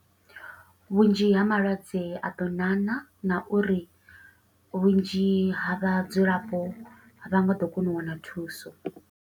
Vhunzhi ha malwadze a ḓo ṋaṋa, na uri vhunzhi ha vhadzulapo a vha nga ḓo kona u wana thuso.